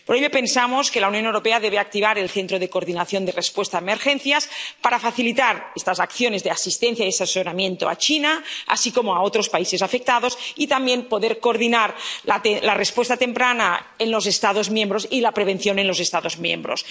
Porque pensamos que la Unión Europea debe activar el Centro Europeo de Coordinación de la Respuesta a Emergencias para facilitar estas acciones de asistencia y de asesoramiento a China, así como a otros países afectados, y también para poder coordinar la respuesta temprana en los Estados miembros y la prevención en los Estados miembros.